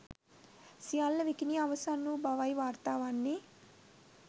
සියල්ල විකිණී අවසන් වූ බවයි වාර්තා වන්නේ